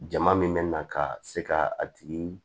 Jama min bɛ na ka se ka a tigi